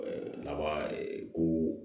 lawa ko